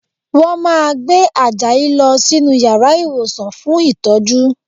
Wọ́n máa gbé Àjàyí lọ sínú yàrá ìwòsàn fún ìtọ́jú